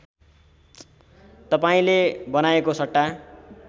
तपाईँले बनाएको सट्टा